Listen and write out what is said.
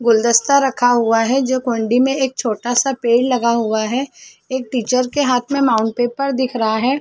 गुलदस्ता रखा हुआ है जो कुण्डी मे एक छोटा सा पेड़ लगा हुआ है एक टीचर एक के हाथ में माउंट पेपर दिख रहा है।